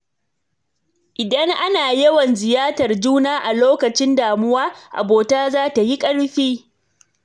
Idan ana yawan ziyartar juna a lokacin damuwa, abota za ta yi ƙarfi.